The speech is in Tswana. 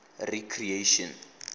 recreation